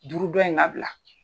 Juru dɔ in bila.